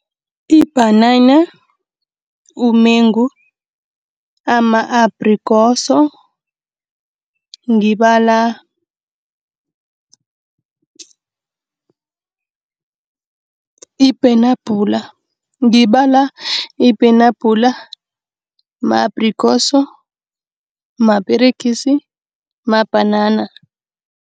Ibhanana, umengu, ama-abhrikosi, ngibala ipenabhula. Ngibala ipenabhula, ama-abhrikosi, maperegisi, mabhanana.